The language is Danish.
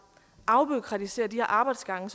og